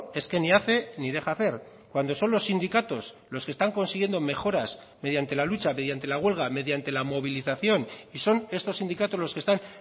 es que ni hace ni deja hacer cuando son los sindicatos los que están consiguiendo mejoras mediante la lucha mediante la huelga mediante la movilización y son estos sindicatos los que están